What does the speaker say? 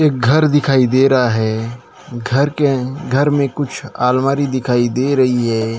एक घर दिखाई दे रहा है घर के घर में कुछ अलमारी दिखाई दे रही है।